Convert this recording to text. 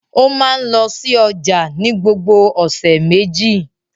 Ó máa ń lọ sí ọjà ní gbogbo ọ̀sẹ̀ méjì.